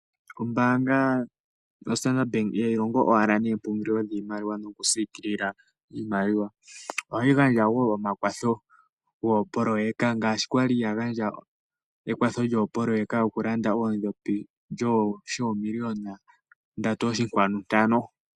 Ombanga yo Standard Bank ihayi longo wala noompungulilo dhiimaliwa noku siikilila iimaliwa, ohayi gandja wo omakwatho goopoloyeka ngashi kwaliya gandja ekwatho lyo poloyeka yoku landa oodhopi, sho million 3,5.